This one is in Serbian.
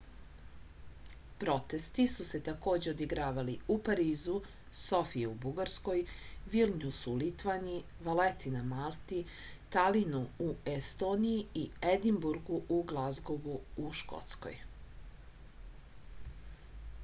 protesti su se takođe odigravali u parizu sofiji u bugarskoj vilnjusu u litvaniji valeti na malti talinu u estoniji i edinburgu i glazgovu u škotskoj